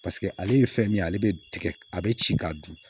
paseke ale ye fɛn min ye ale be tigɛ a be ci ka dun